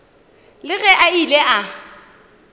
le ge a ile a